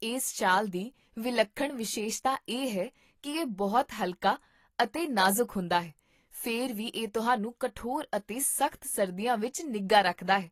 ਇਸ ਸ਼ਾਲ ਦੀ ਵਿਲੱਖਣ ਵਿਸ਼ੇਸ਼ਤਾ ਇਹ ਹੈ ਕੀ ਇਹ ਬਹੁਤ ਹਲਕਾ ਅਤੇ ਨਾਜ਼ੁਕ ਹੁੰਦਾ ਹੈ, ਫਿਰ ਵੀ ਇਹ ਤੁਹਾਨੂੰ ਕਠੋਰ ਅਤੇ ਸਖ਼ਤ ਸਰਦੀਆਂ ਵਿੱਚ ਨਿੱਘਾ ਰੱਖਦਾ ਹੈ